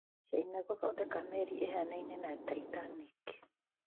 China gũthondeka merĩ ĩhanaine na Titanic